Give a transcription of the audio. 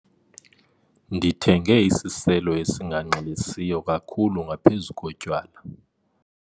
Ndithenge isiselo esinganxilisiyo kakhulu ngaphezu kotywala.